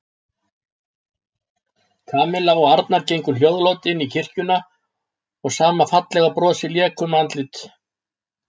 Kamilla og Arnar gengu hljóðlát inn í kirkjuna og sama fallega brosið lék um andlit